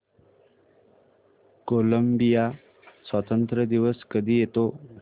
Colombia स्वातंत्र्य दिवस कधी येतो